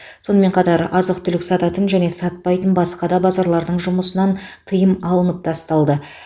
сонымен қатар азық түлік сататын және сатпайтын басқа да базарлардың жұмысынан тыйым алынып тасталды